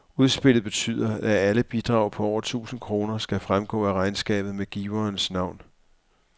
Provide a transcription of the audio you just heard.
Udspillet betyder, at alle bidrag på over tusind kroner skal fremgå af regnskabet med giverens navn.